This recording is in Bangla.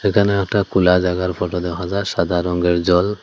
এখানে একটা খুলা জায়গার ফটো দেখা যায় সাদা রঙের জল।